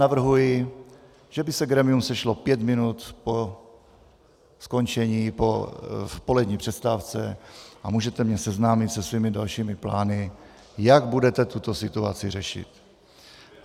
Navrhuji, že by se grémium sešlo pět minut po skončení, v polední přestávce, a můžete mě seznámit se svými dalšími plány, jak budete tuto situaci řešit.